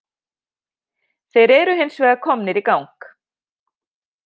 Þeir eru hins vegar komnir í gang